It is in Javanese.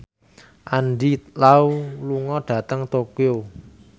Andy Lau lunga dhateng Tokyo